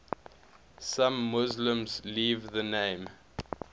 some muslims leave the name